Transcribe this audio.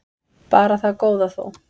Bara það góða þó.